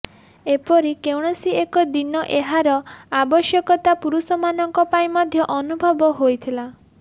ଏପରି କୌଣସି ଏକ ଦିନ ଏହାର ଆବଶ୍ୟକତା ପୁରୁଷମାନଙ୍କପାଇଁ ମଧ୍ୟ ଅନୁଭବ ହୋଇଥିଲା